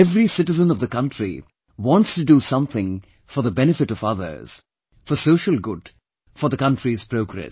Every citizen of the country wants to do something for the benefit of others, for social good, for the country's progress